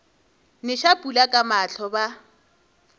neša pula ka mahlo ba